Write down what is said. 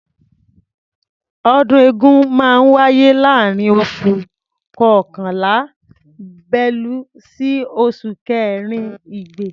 Ọdún eégún máa ń wáyé láàárín oṣù kọkànlá(bélú) sí oṣù kẹrin (igbe).